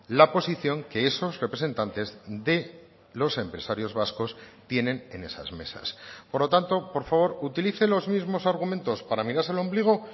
la posición que esos representantes de los empresarios vascos tienen en esas mesas por lo tanto por favor utilice los mismos argumentos para mirarse al ombligo